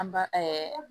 An ba